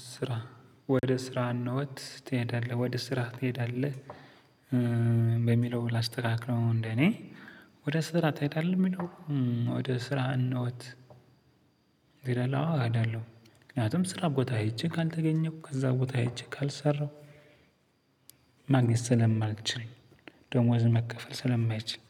ስራ ወደ ስራ እንሄዳለን ወደ ስራ ትሄዳለህ? በሚለው ላስተካክለው እንደኔ ወደ ስራ ትሄዳለህ የሚለው ወደ ስራ እነውት። አይደለም። ምክንያቱም ስራ ቦታ ሄጄ ካልተገኘሁ ከዛ ቦታ ሄጄ ካልሰራሁ። ማግኘት ስለማልችል ደሞዝ መከፈል ስለማይችል።